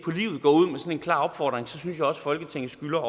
klar opfordring så synes jeg også at folketinget skylder